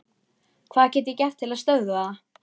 Hvað get ég gert til að stöðva það?